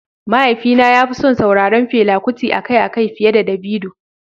Mahaifina ya fi son sauraron Fela Kuti akai-akai fiye da Davido.